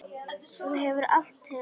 Þú hefur allt til alls.